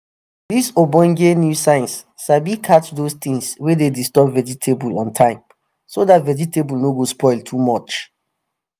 dis ogbonge new science sabi catch those things wey dey disturb vegetable on time so dat vegetable no go spoil too much